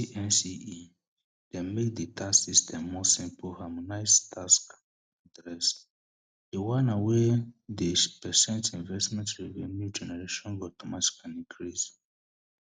di NCE dem make di tax system more simple harmonise tax dress di wana wey dey precent investment revenue generation go automatically increase